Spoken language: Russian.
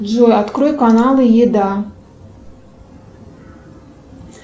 джой открой каналы еда